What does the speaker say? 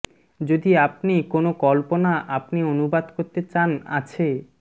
যদি আপনি কোন কল্পনা আপনি অনুবাদ করতে চান আছে